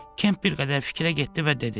Kemp bir qədər fikrə getdi və dedi: